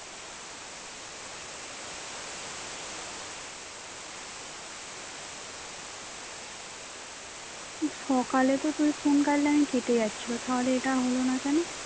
সকালে তো তুই phone কাটলে কেটে যাচ্ছিল তাহলে এটা হোল না কেন?